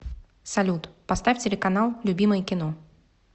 салют поставь телеканал любимое кино